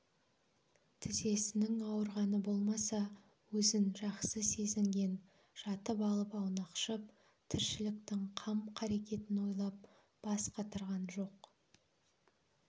тізесінің ауырғаны болмаса өзін жақсы сезінген жатып алып аунақшып тіршіліктің қам-қарекетін ойлап бас қатырған жоқ